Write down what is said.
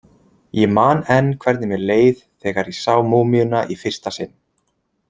Ég man enn hvernig mér leið þegar ég sá múmíuna í fyrsta sinn.